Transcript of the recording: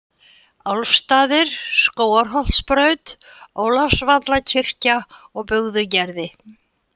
Álfsstaðir, Skógarholtsbraut, Ólafsvallakirkja, Bugðugerði